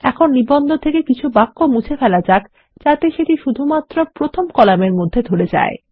এখন নিবন্ধ থেকে কিছু বাক্য মুছে ফেলা যাক যাতে সেটি শুধুমাত্র প্রথম কলামের মধ্যে ধরে যায়